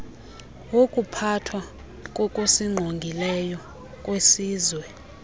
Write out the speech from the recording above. wokuphathwa kokusingqongileyo kwesizwe